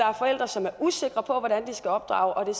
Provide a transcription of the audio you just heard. er forældre som er usikre på hvordan de skal opdrage og